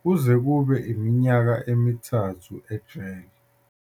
kuze kube yiminyaka emithathu ejele.